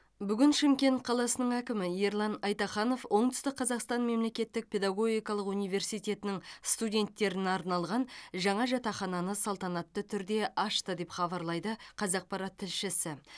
бүгін шымкент қаласының әкімі ерлан айтаханов оңтүстік қазақстан мемлекеттік педагогикалық университетінің студенттеріне арналған жаңа жатақхананы салтанатты түрде ашты деп хабарлайды қазақпарат тілшісі